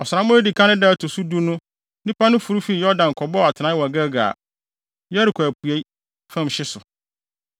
Ɔsram a edi kan no da ɛto so du no nnipa no foro fii Yordan kɔbɔɔ atenae wɔ Gilgal, Yeriko apuei fam hye so.